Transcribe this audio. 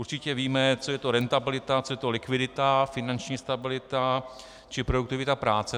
Určitě víme, co to je rentabilita, co je to likvidita, finanční stabilita či produktivita práce.